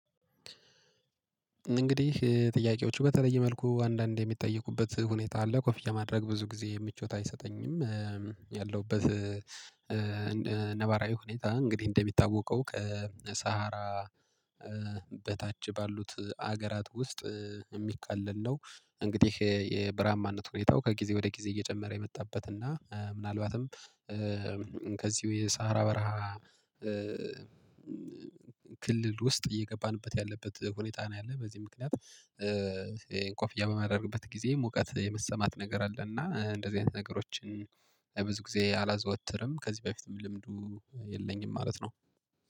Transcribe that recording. እንግዲህ ጥያቄዎቹ በተለየ መልኩ አንዳንዴ እሚጠይቁበት ሁኔታ አለ ኮፍያ ማድረግ ብዙ ጊዜ ምቾት አይሰጠኝም። ያለውበት ነባራዊ ሁኔታ እንግዲህ እንደሚታወቀው ከሳሃራ በታች ባሉት አገራት ውስጥ እሚካለል ነው። እንግዲህ የበርሃማነት ሁኔታው ከጊዜ ወደ ጊዜ እየጨመረ የመጣበት እና ምናልባትም ከዚሁ የሳሃራ በረሃ ክልል ውስጥ እየገባንበት ያለበት ሁኔታ ነው። ያለ በዚህ ምክንያት ኮፍያ በማደርግበት ጊዜ ሙቀት የመሰማት ነገር አለና እንደዚህ አይነት ነገሮች ብዙ ጊዜ አላዘወትርም። ከዚህ በፊትም ልምዱ የለኝም ማለት ነው